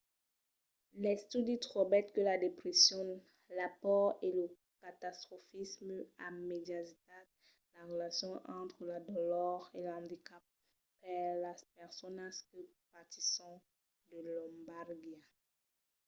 l'estudi trobèt que la depression la paur e lo catastrofisme a mediatizat la relacion entre la dolor e l'andicap per las personas que patisson de lombalgia